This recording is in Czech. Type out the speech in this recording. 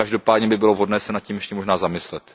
Každopádně by bylo vhodné se nad tím ještě možná zamyslet.